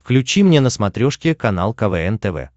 включи мне на смотрешке канал квн тв